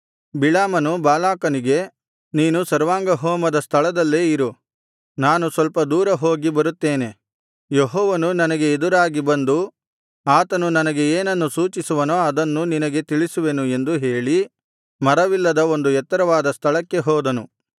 ಬಿಳಾಮನು ಬಾಲಾಕನಿಗೆ ನೀನು ಸರ್ವಾಂಗಹೋಮದ ಸ್ಥಳದಲ್ಲೇ ಇರು ನಾನು ಸ್ವಲ್ಪ ದೂರ ಹೋಗಿ ಬರುತ್ತೇನೆ ಯೆಹೋವನು ನನಗೆ ಎದುರಾಗಿ ಬಂದು ಆತನು ನನಗೆ ಏನನ್ನು ಸೂಚಿಸುವನೋ ಅದನ್ನು ನಿನಗೆ ತಿಳಿಸುವೆನು ಎಂದು ಹೇಳಿ ಮರವಿಲ್ಲದ ಒಂದು ಎತ್ತರವಾದ ಸ್ಥಳಕ್ಕೆ ಹೋದನು